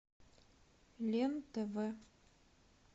лен тв